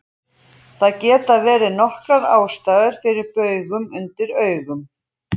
Það geta verið nokkrar ástæður fyrir baugum undir augum.